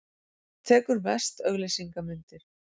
Tekur mest auglýsingamyndir.